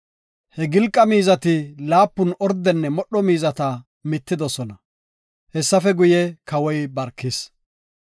He gilqa miizati laapun ordenne modho miizata mittidosona. Hessafe guye, Kawoy barkis.